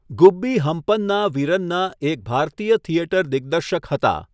ગુબ્બી હમ્પન્ના વીરન્ના એક ભારતીય થિયેટર દિગ્દર્શક હતા.